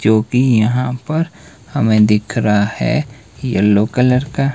जो कि यहां पर हमें दिख रहा है येलो कलर का।